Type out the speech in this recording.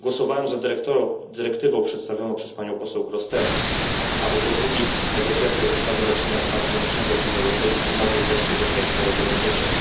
Głosowałem za dyrektywą przedstawioną przez panią poseł Grossetête, aby po długich negocjacjach zasady leczenia transgranicznego w Unii Europejskiej mogły wreszcie zostać wprowadzone w życie.